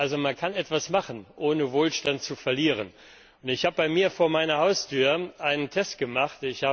Also Man kann etwas machen, ohne Wohlstand zu verlieren. Ich habe bei mir vor meiner Haustüre einen Test gemacht.